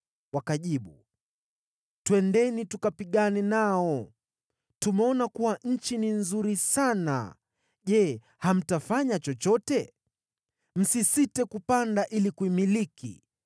Wakajibu, “Twendeni, tukapigane nao! Tumeona kuwa nchi ni nzuri sana. Je, hamtafanya chochote? Msisite kupanda ili kuimiliki.